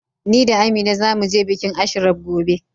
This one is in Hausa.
Ni da Amina za mu je bikin Ashraf gobe.